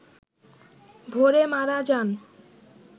ভোরে মারা যান